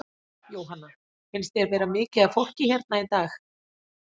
Jóhanna: Finnst þér vera mikið af fólki hérna í dag?